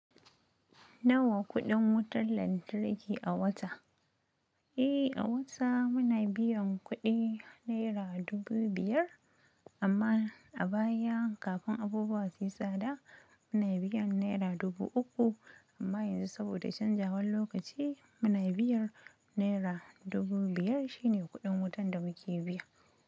Nawa kuɗin wutar lantarki a wata? Eh, a wata muna biyan kuɗi naira dubu biyar, amma a baya kafin abubuwa su yi tsada muna biyan naira dubu uku, amma yanzu saboda canjawan lokaci muna biyar naira dubu biyar shine kuɗin wutan da muke biya.